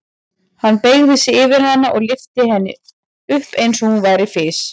Hann beygði sig yfir hana og lyfti henni upp eins og hún væri fis.